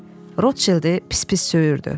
Rotçildi pis-pis söyürdü.